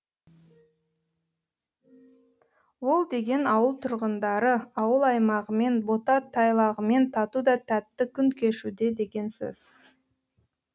ол деген ауыл тұрғындары ауыл аймағымен бота тайлағымен тату да тәтті күн кешуде деген сөз